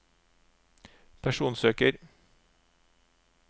personsøker